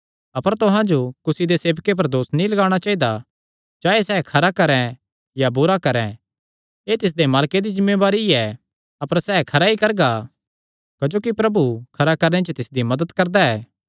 अपर तुहां जो कुसी दे सेवके पर दोस नीं लगाणा चाइदा चाहे सैह़ खरा करैं या बुरा करैं एह़ तिसदे मालके दी जिम्मेवारी ऐ अपर सैह़ खरा ई करगा क्जोकि प्रभु खरा करणे च तिसदी मदत करदा ऐ